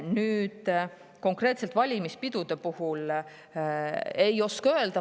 Nüüd, konkreetselt valimispidude kohta ei oska öelda.